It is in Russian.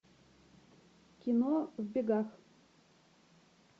кино в бегах